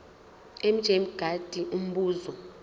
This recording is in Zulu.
mj mngadi umbuzo